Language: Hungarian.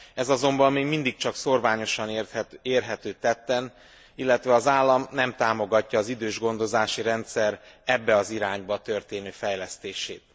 Ez azonban még mindig csak szórványosan érhető tetten, illetve az állam nem támogatja az idősgondozási rendszer ebbe az irányba történő fejlesztését.